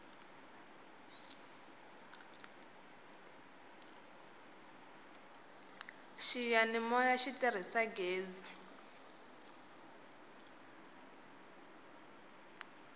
xiyanimoya xi tirhisa ghezi